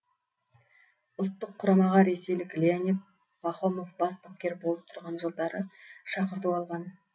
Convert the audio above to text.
ұлттық құрамаға ресейлік леонид пахомов бас бапкер болып тұрған жылдары шақырту алған